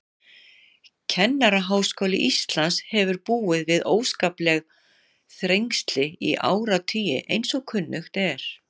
Kennaraháskóli Íslands hefur búið við óskapleg þrengsli í áratugi, eins og kunnugt er.